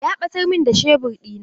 Ya ɓatar min da shebur ɗina.